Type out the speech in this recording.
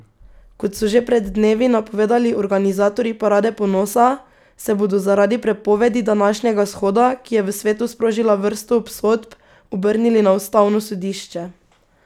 Kot so že pred dnevi napovedali organizatorji parade ponosa, se bodo zaradi prepovedi današnjega shoda, ki je v svetu sprožila vrsto obsodb, obrnili na ustavno sodišče.